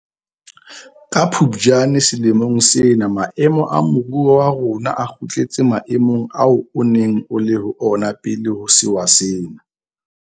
Ka Phuptjane selemong sena maemo a moruo wa rona a kgutletse maemong ao o neng o le ho ona pele ho sewa sena.